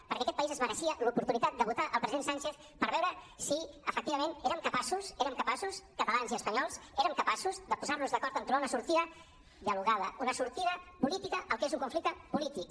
perquè aquest país es mereixia l’oportunitat de votar el president sánchez per veure si efectiva·ment érem capaços érem capaços catalans i espanyols érem capaços de posar·nos d’acord en trobar una sortida dialogada una sortida política al que és un conflicte polític